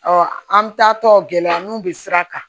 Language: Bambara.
an taatɔ gɛlɛya n'u bɛ sira kan